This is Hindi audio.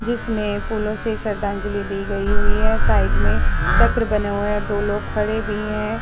जिसमें फूलो से श्रधांजलि दी गयी हुई है। साइड में चक्र बने हुए हैं और दो लोग खड़े भी हैं।